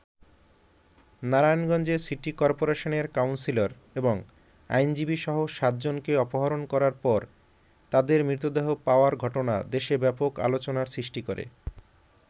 নারায়ণগঞ্জে সিটি করপোরেশনের কাউন্সিলর এবং আইনজীবীসহ সাতজনকে অপহরণ করার পর তাদের মৃতদেহ পাওয়ার ঘটনা দেশে ব্যাপক আলোচনার সৃষ্টি করে।